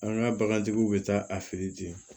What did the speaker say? An ka bagantigiw bɛ taa a fɛ yen ten